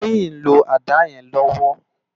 Toyin n ló àdá yèn lòwò